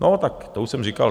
No tak to už jsem říkal.